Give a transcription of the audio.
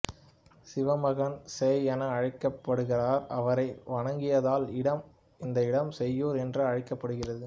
சிவன் மகன் சேய் என அழைக்கப்படுகிறார் அவரை வணங்கியதால் இந்த இடம் சேய்யூர் என்று அழைக்கப்படுகிறது